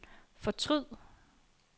fortryd